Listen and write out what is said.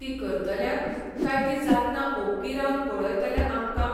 ती करतल्यांक, काय ती जातना ओग्गी रावन पळयतल्या आमकां?